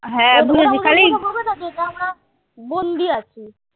যদি আমরা বন্দি আছি।